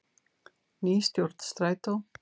Ný stjórn Strætó